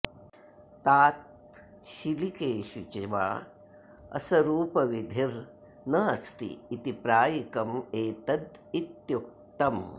ताच्छीलिकेषु च वा असरूपविधिर् न अस्ति इति प्रायिकम् एतदित्युक्तम्